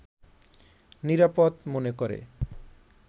নিরাপদ মনে করে